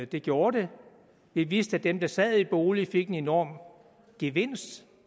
det gjorde det vi vidste at dem der sad i en bolig fik en enorm gevinst